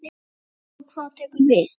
Farið og hvað tekur við?